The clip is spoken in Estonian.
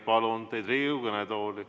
Palun teid Riigikogu kõnetooli!